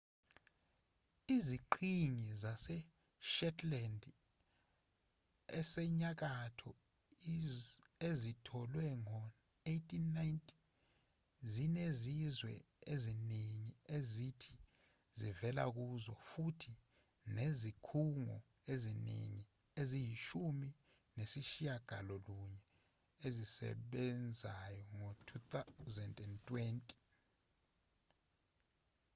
iziqhingi zaseshetland esenyakatho ezitholwe ngo-1819 zinezizwe eziningi ezithi ziwela kuzo futhi zinezikhungo eziningi eziyishumi nesishiyagalolunye ezisebenzayo ngo-2020